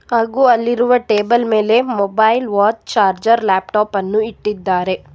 ಹಾಗು ಅಲ್ಲಿರುವ ಟೇಬಲ್ ಮೇಲೆ ಮೊಬೈಲ್ ವಾಚ್ ಚಾರ್ಜರ್ ಲ್ಯಾಪ್ಟಾಪ್ ಅನ್ನು ಇಟ್ಟಿದ್ದಾರೆ.